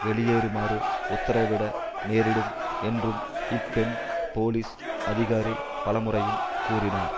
வெளியேறுமாறு உத்திரவிட நேரிடும் என்றும் இப்பெண் போலீஸ் அதிகாரி பலமுறையும் கூறினார்